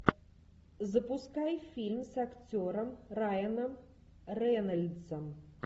запускай фильм с актером райаном рейнольдсом